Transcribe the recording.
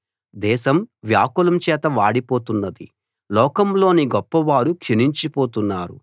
దేశం వ్యాకులం చేత వాడిపోతున్నది లోకంలోని గొప్పవారు క్షీణించి పోతున్నారు